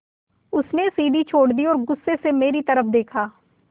उसने सीढ़ी छोड़ दी और गुस्से से मेरी तरफ़ देखा